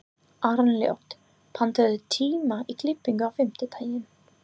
Arnljót, pantaðu tíma í klippingu á fimmtudaginn.